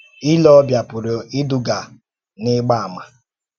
Ìlè ọ́bìà pùrù ídùgà n’ígbà àmà